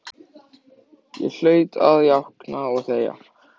Ég hlaut að jánka og þegja.